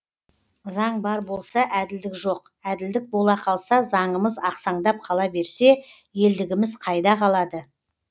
заң бар болса әділдік жоқ әділдік бола қалса заңымыз ақсаңдап қала берсе елдігіміз қайда қалады